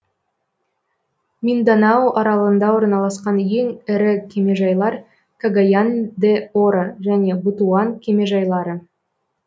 минданао аралында орналасқан ең ірі кемежайлар кагаян де оро және бутуан кемежайлары